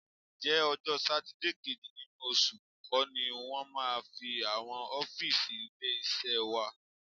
Ǹjẹ́ ọjọ́ Sátidé kejì nínú oṣù kọ́ ni wọ́n máa ń fín àwọn ọ́fíìsì ilé-iṣẹ́ wa?